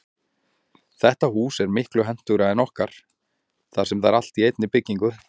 Þetta hús er miklu hentugra en okkar þar sem það er allt í einni byggingu.